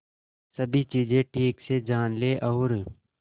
सभी चीजें ठीक से जान ले और